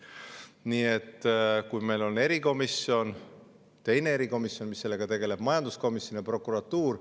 Nii et meil on erikomisjon, teine erikomisjon, mis sellega tegelevad, majanduskomisjon ja prokuratuur.